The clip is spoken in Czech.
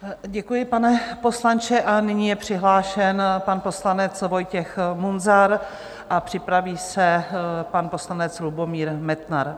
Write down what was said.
Děkuji, pane poslanče, a nyní je přihlášen pan poslanec Vojtěch Munzar a připraví se pan poslanec Lubomír Metnar.